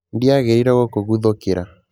Ndiagĩrĩirũo gũkũguthũkĩra